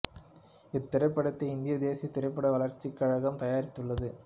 இத் திரைப்படத்தை இந்திய தேசியத் திரைப்பட வளர்ச்சிக் கழகம் தயாரித்துள்ளது